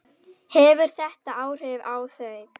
Hefur þetta áhrif á þau?